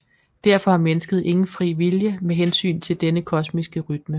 Derfor har mennesket ingen fri vilje med hensyn til denne kosmiske rytme